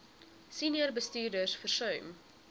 senior bestuurders versuim